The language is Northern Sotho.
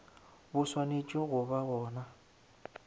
bo swanetše go ba gona